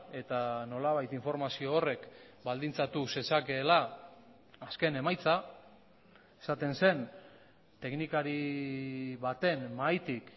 eta nolabait informazio horrek baldintzatu zezakeela azken emaitza esaten zen teknikari baten mahaitik